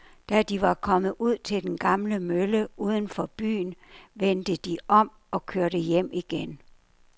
Da de var kommet ud til den gamle mølle uden for byen, vendte de om og kørte hjem igen.